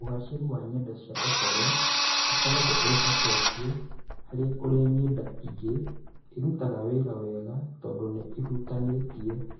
Ũgaacĩru wa ng’enda cia ũhoro ũkoragwo wĩhocetie harĩ ũrĩa ng’enda iria ingĩ irutaga wĩra wega, tondũ nĩ ihutanĩtie.